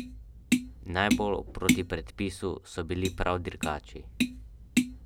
Najbolj proti predpisu so bili prav dirkači.